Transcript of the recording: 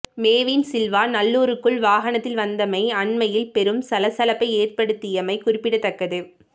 மேவின் சில்வா நல்லூருக்குள் வாகனத்தில் வந்தமை அண்மையில் பெரும் சலசலப்பை ஏற்படுத்தியமை குறிப்பிடத்தக்கது